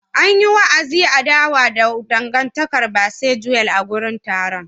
An yi wa'azin adawa da dangantakar Bisexual a wurin taron.